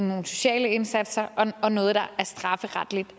nogle sociale indsatser og noget der er strafferetligt